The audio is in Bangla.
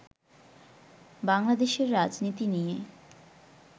বাংলাদেশের রাজনীতি নিয়ে